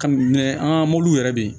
Ka ɲɛ an ka mɔbili yɛrɛ